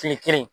Fini kelen